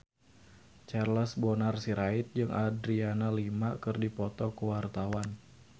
Charles Bonar Sirait jeung Adriana Lima keur dipoto ku wartawan